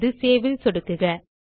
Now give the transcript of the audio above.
இப்போது சேவ் ல் சொடுக்குக